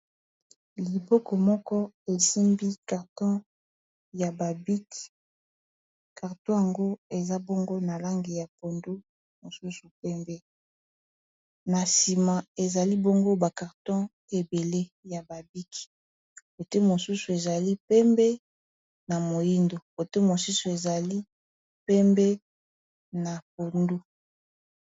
loboko moko esimbi karton ya babiki carton yango eza bongo na langi ya pondu mosusu pembe na nsima ezali bongo bakarton ebele ya babik ote mosusu ezali pembe na moindo ote mosusu ezali pembe na pondu